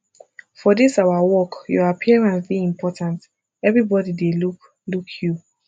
for dis our work your appearance dey important everbodi dey look look you